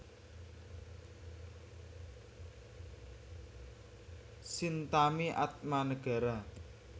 Chintami Atmanegara